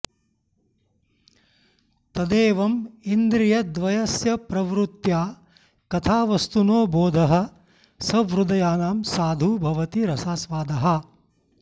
तदेवम् इन्द्रियद्वयस्य प्रवृत्त्या कथावस्तुनो बोधः सहृदयानां साधु भवति रसास्वादाः